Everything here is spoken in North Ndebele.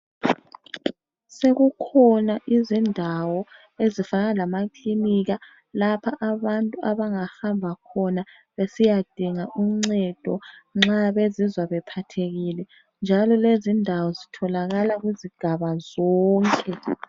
Sekukhona izindawo ezifana lamakilinika lapha abantu abangahamba khona besiyadinga uncedo nxa bezizwa bephathekile njalo lezi indawo zitholakala kuzigaba zonke.